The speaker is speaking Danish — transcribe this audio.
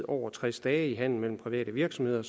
over tres dage i handelen mellem private virksomheder